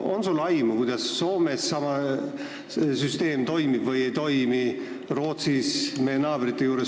On sul aimu, kas Soomes ja Rootsis samasugune süsteem toimib või ei toimi?